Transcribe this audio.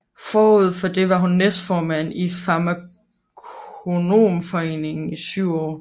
Forud for det var hun næstformand i Farmakonomforeningen i syv år